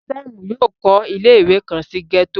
Sam yóò kọ ile-iwe kan si gẹto